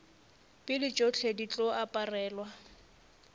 pele tšohle di tlo aparelwa